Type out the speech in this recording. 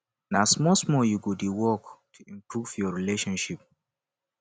na smallsmall you go dey work to improve your relationship